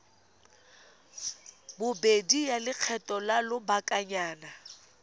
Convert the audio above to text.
bobedi ya lekgetho la lobakanyana